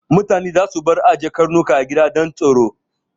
Mutane za su bar ajiye Karnuka a gida don tsaro